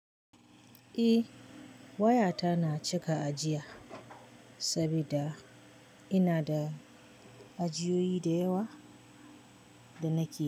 Eh, wayata na cika ajiya saboda ina da ajiyoyi da yawa da nake yi.